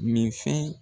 Min fɛn